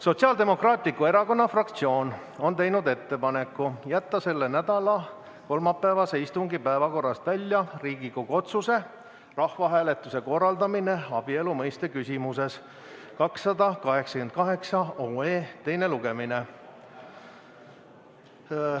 Sotsiaaldemokraatliku Erakonna fraktsioon on teinud ettepaneku jätta selle nädala kolmapäevase istungi päevakorrast välja Riigikogu otsuse "Rahvahääletuse korraldamine abielu mõiste küsimuses" eelnõu 288 teine lugemine.